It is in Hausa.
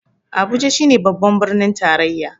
Abuja shi ne babban birnin tarayya